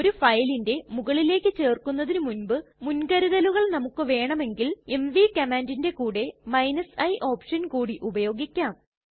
ഒരു ഫയലിന്റെ മുകളിലേക്ക് ചേര്ക്കുന്നതിന് മുൻപ് മുൻകരുതലുകൾ നമുക്ക് വേണമെങ്കിൽ എംവി കമാന്റിറ്റ്ന്റെ കൂടെ i ഓപ്ഷൻ കൂടി ഉപയോഗിക്കാം